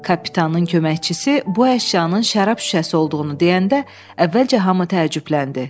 Kapitanın köməkçisi bu əşyanın şərab şüşəsi olduğunu deyəndə əvvəlcə hamı təəccübləndi.